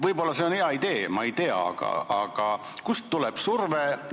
Võib-olla see on hea idee, ma ei tea, aga kust tuleb surve?